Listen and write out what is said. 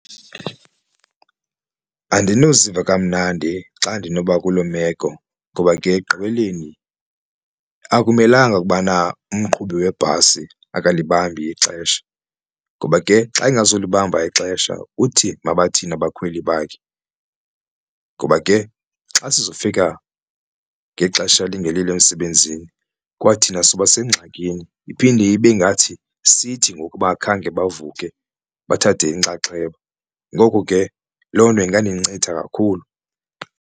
Andinoziva kamnandi xa ndinoba kuloo meko ngoba ke ekugqibeleni akumelanga ukubana umqhubi webhasi akalibambi ixesha ngoba ke xa engazulibamba ixesha uthi mabathini abakhweli bakhe. Ngoba ke xa sizofika ngexesha elingelilo emsebenzini kwathina soba sengxakini iphinde ibe ngathi sithi ngoku abangakhange bavuke bathathe inxaxheba ngoku ke loo nto ingandincitha kakhulu.